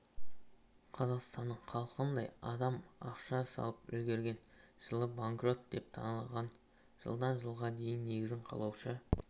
қазақстанның халқындай адам ақша салып үлгерген жылы банкрот деп танылып жылдан жылға дейін негізін қалаушы